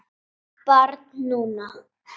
Barn núna.